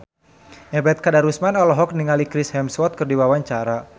Ebet Kadarusman olohok ningali Chris Hemsworth keur diwawancara